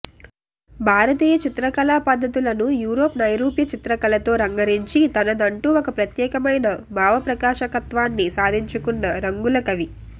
భారతీయ చిత్రకళా పద్ధతులను యూరోపు నైరూప్య చిత్రకళతో రంగరించి తనదంటూ ఒక ప్రత్యేకమైన భావప్రకాశకత్వాన్ని సాధించుకున్న రంగులకవి